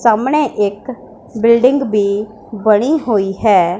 सामने एक बिल्डिंग भी बनी हुई है।